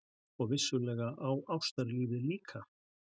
Og vissulega á ástarlífið líka!